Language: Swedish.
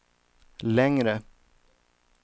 längre